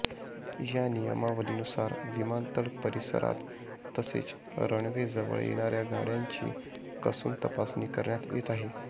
या नियमावलीनुसार विमानतळ परिसरात तसेच रनवे जवळ येणाऱ्या गाड्यांची कसून तपासणी करण्यात येत आहे